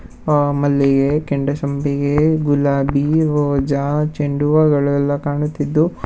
ಆ ಮಲ್ಲಿಗೆ ಕೆಂಡಸಂಪಿಗೆ ಗುಲಾಬಿ ರೋಜಾ ಚೆಂಡುವಗಳೆಲ್ಲ ಕಾಣುತ್ತಿದ್ದು.